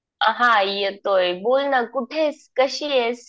हा येतोय. बोल ना . कुठे आहेस? कशी आहेस?